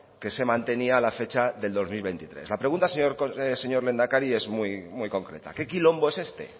que se mantenía la fecha del dos mil veintitrés la pregunta señor lehendakari es muy concreta qué quilombo es este